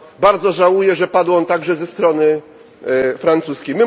Bardzo żałuję, że padł on także ze strony francuskiej.